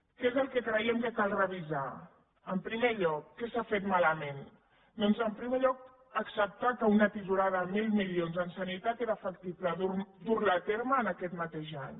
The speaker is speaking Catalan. què és el que creiem que cal revisar en primer lloc què s’ha fet malament doncs en primer lloc acceptar que una tisorada de mil milions en sanitat era factible dur la a terme en aquest mateix any